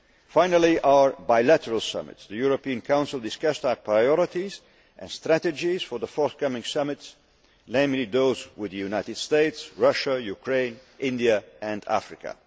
Finally, regarding our bilateral summits, the European Council discussed our priorities and strategies for the forthcoming summits, namely those with the United States, Russia, Ukraine, India and Africa.